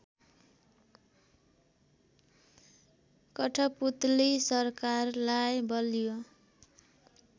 कठपुतली सरकारलाई बलियो